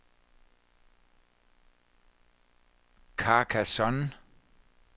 Carcassonne